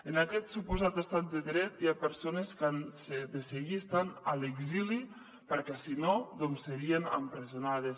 en aquest suposat estat de dret hi ha persones que han de seguir estant a l’exili perquè si no doncs serien empresonades